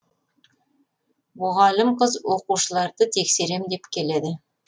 мұғалім қыз оқушыларды тексерем деп келеді